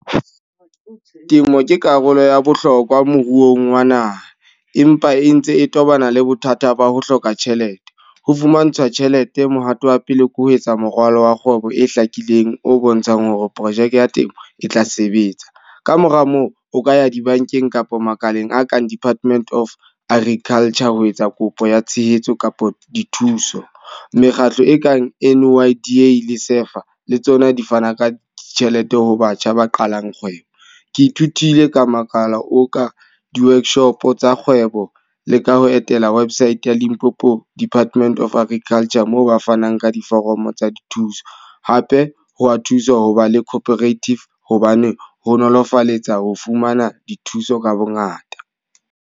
Temo ke karolo ya bohlokwa moruong wa naha. Empa e ntse e tobana le bothata ba ho hloka tjhelete. Ho fumantshwa tjhelete, mohato wa pele ke ho etsa moralo wa kgwebo e hlakileng o bontshang hore projeke ya temo e tla sebetsa. Ka mora moo o ka ya dibankeng kapa makaleng a kang Department of Agriculture, ho etsa kopo ya tshehetso kapa dithuso. Mekgatlo e kang N_Y_I_D le SEFA, le tsona di fana ka tjhelete ho batjha ba qalang kgwebo. Ke ithutile ka makala o ka di-workshop tsa kgwebo le ka ho etela website ya Limpopo Department of Agriculture. Moo ba fanang ka diforomo tsa dithuso. Hape ho wa thusa ho ba le operative hobane ho nolofaletsa ho fumana dithuso ka bo ngata.